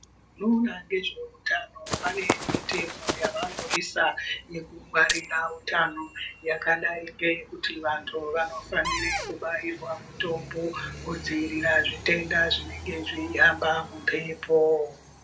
Vanoona ngezveutano vane mitemo yavanoisa kukungwarira utano, yakadai ngeyekuti vanthu vanofanire kubairwa mitombo kudziirira zvitenda zvinenge zveihamba mumphepo.